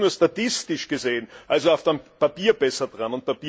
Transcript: Sie sind nur statistisch gesehen, also auf dem Papier, besser dran.